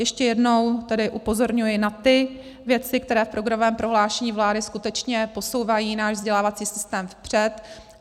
Ještě jednou tedy upozorňuji na ty věci, které v programovém prohlášení vlády skutečně posouvají náš vzdělávací systém vpřed.